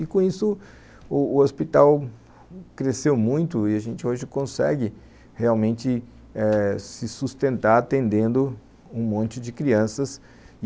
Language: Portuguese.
E com isso, o o hospital cresceu muito e a gente hoje consegue realmente eh se sustentar atendendo um monte de crianças.